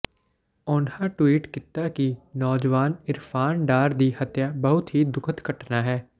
ਉਨ੍ਹਾਂ ਟਵੀਟ ਕੀਤਾ ਕਿ ਨੌਜਵਾਨ ਇਰਫਾਨ ਡਾਰ ਦੀ ਹੱਤਿਆ ਬਹੁਤ ਹੀ ਦੁਖਦ ਘਟਨਾ ਹੈ